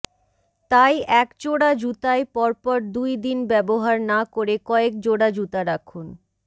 তাই এক জোড়া জুতাই পর পর দুই দিন ব্যবহার না করে কয়েক জোড়া জুতা রাখুন